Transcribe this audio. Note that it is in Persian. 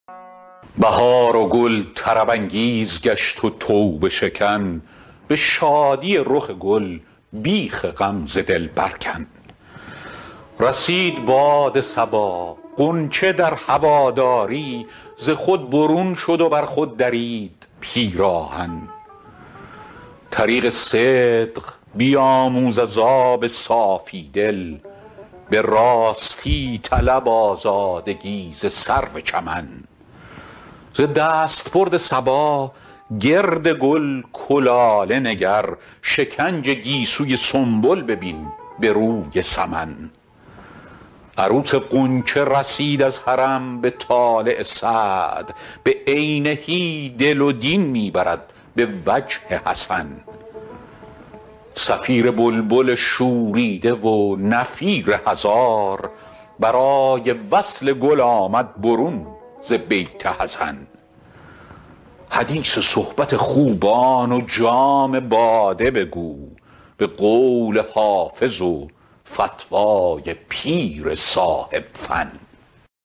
بهار و گل طرب انگیز گشت و توبه شکن به شادی رخ گل بیخ غم ز دل بر کن رسید باد صبا غنچه در هواداری ز خود برون شد و بر خود درید پیراهن طریق صدق بیاموز از آب صافی دل به راستی طلب آزادگی ز سرو چمن ز دستبرد صبا گرد گل کلاله نگر شکنج گیسوی سنبل ببین به روی سمن عروس غنچه رسید از حرم به طالع سعد بعینه دل و دین می برد به وجه حسن صفیر بلبل شوریده و نفیر هزار برای وصل گل آمد برون ز بیت حزن حدیث صحبت خوبان و جام باده بگو به قول حافظ و فتوی پیر صاحب فن